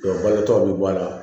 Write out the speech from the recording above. bage tɔw bɛ bɔ a la